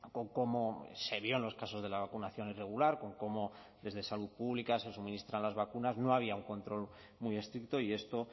con cómo se vio en los casos de la vacunación irregular con cómo desde salud pública se suministran las vacunas no había un control muy estricto y esto